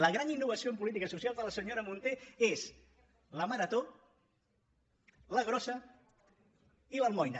la gran innovació en política social de la senyora munté és la marató la grossa i l’almoina